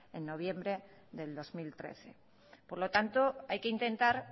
en noviembre del dos mil trece por lo tanto hay que intentar